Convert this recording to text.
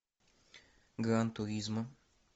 гран туризмо